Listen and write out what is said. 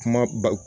Kuma ba